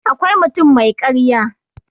akwai mutum mai karya